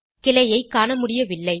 கிளையைக் காணமுடியவில்லை